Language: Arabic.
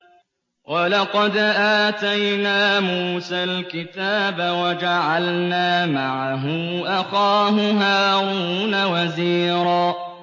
وَلَقَدْ آتَيْنَا مُوسَى الْكِتَابَ وَجَعَلْنَا مَعَهُ أَخَاهُ هَارُونَ وَزِيرًا